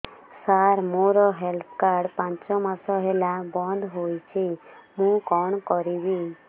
ସାର ମୋର health card ପାଞ୍ଚ ମାସ ହେଲା ବଂଦ ହୋଇଛି ମୁଁ କଣ କରିବି